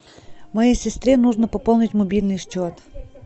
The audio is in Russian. моей сестре нужно пополнить мобильный счет